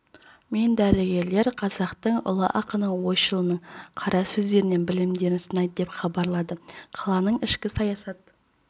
мен дәрігерлер қазақтың ұлы ақыны ойшылының қара сөздерінен білімдерін сынайды деп хабарлады қаланың ішкі саясат